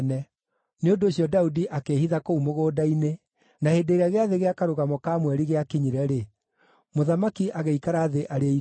Nĩ ũndũ ũcio Daudi akĩĩhitha kũu mũgũnda-inĩ, na hĩndĩ ĩrĩa gĩathĩ gĩa Karũgamo ka Mweri gĩakinyire-rĩ, mũthamaki agĩikara thĩ arĩe irio.